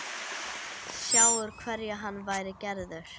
Sjá úr hverju hann væri gerður.